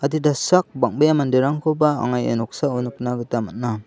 adita sak bang·bea manderangkoba anga iano nikna gita man·a.